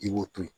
I b'o to yen